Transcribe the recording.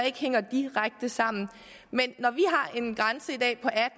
ikke hænger direkte sammen men